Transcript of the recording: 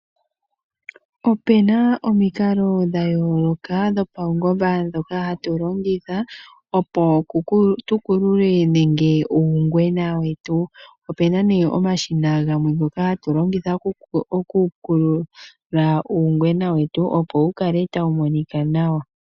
Opuna omikalo dha yooloka dho paungomba ndhoka hatu longitha opo tu kulule uungwena wetu, opuna omashina gamwe ngoka hatu longitha oku kulula uungwena wetu opo wu kale tawu monika nawa.